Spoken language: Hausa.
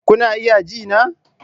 Kuna iya ji na?